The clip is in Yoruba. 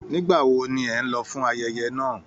Nígbà wo ní ẹ n lọ fún ayẹyẹ náà?